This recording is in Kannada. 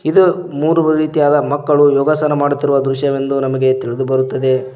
ಇದು ಮೂರು ರೀತಿಯಾದ ಮಕ್ಕಳು ಯೋಗಾಸನ ಮಾಡುತ್ತಿರುವ ದೃಶ್ಯವೆಂದು ನಮಗೆ ತಿಳಿದು ಬರುತ್ತದೆ.